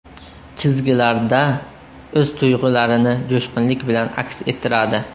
Chizgilarda o‘z tuyg‘ularini jo‘shqinlik bilan aks ettiradi.